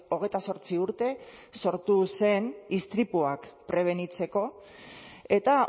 hogeita zortzi urte sortu zen istripuak prebenitzeko eta